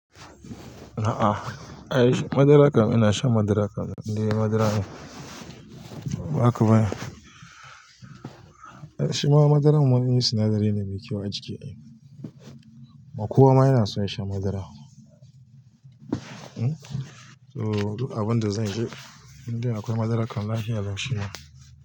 A'a, ai madara kam ina shan madara kam, in dai madara ne, ba haka ba ne? Shi ma madara mun yi sinadari ne mai kyau a jiki ai. Kuma kowa ma yana son shan madara. To duk abin da zanci in dai akwai madara kam lahiya lau shima.